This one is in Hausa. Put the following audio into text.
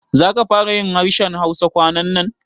Za ka fara yin harshen Hausa kwanannan?